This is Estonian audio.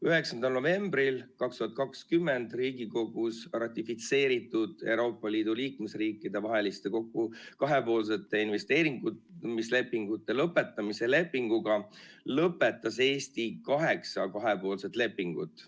17. novembril 2020 Riigikogus ratifitseeritud Euroopa Liidu liikmesriikide vaheliste kahepoolsete investeerimislepingute lõpetamise lepinguga lõpetas Eesti kaheksa kahepoolset lepingut.